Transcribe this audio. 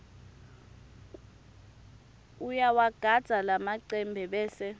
uyawagandza lamacembe bese